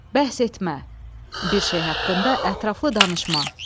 Bəhs etmə, bir şey haqqında ətraflı danışma.